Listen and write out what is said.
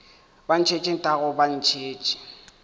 ba ntšhetše nthago ba ntšhetše